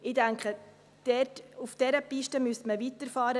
Ich denke, auf dieser Piste müsste man weiterfahren.